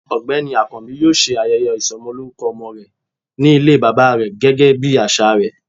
ọgbẹni akanbi yọọ se ayéyé isómolorúkó omo re, ní ilé baba re gégé bí asà re